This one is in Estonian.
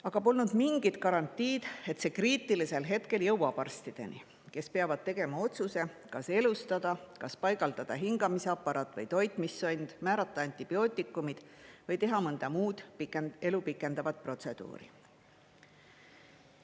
Aga polnud mingit garantiid, et see kriitilisel hetkel jõuab arstideni, kes peavad tegema otsuse, kas elustada, kas paigaldada hingamisaparaat või toitmissond, määrata antibiootikumid või teha mõnda muud elu pikendavat protseduuri.